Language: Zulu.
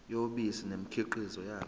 yobisi nemikhiqizo yalo